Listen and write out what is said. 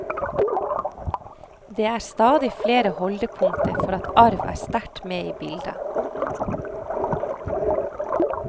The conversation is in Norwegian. Det er stadig flere holdepunkter for at arv er sterkt med i bildet.